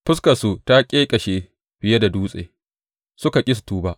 Fuskarsu ta ƙeƙashe fiye da dutse suka ƙi su tuba.